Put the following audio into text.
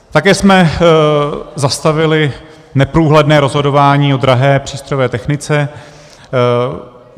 Také jsme zastavili neprůhledné rozhodování o drahé přístrojové technice.